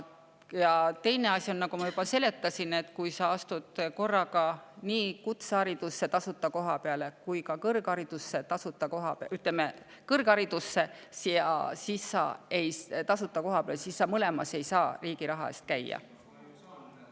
Ja teine asi, mida ma juba seletasin, et kui sa astud korraga nii kutse tasuta koha peale kui ka kõrg tasuta koha peale, siis sa mõlemas ei saa riigi raha eest käia.